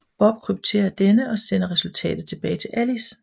Bob krypterer denne og sender resultatet tilbage til Alice